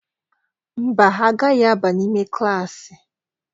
Mba, ha agaghị aba n'ime klaasị.